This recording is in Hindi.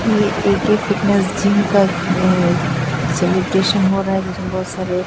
ये ए_के फिटनेस जिम का अ सेलिब्रेशन हो रहा है जिसमें बहोत सारे--